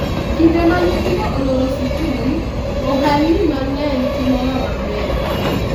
kinde ma nyithindo oloro sikul, ohalni mang'eny timoga maber